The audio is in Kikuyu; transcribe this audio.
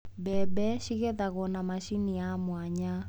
Mbembe cigethagwo na macini ya mwanya.